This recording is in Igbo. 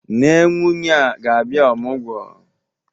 Nne nwunye a ga-abịa ọmụgwọ?